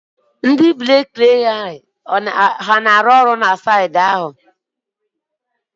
ndị brik na-arụ ọrụ na saịtị ahụ?